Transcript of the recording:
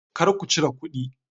Kar ku cire kudi!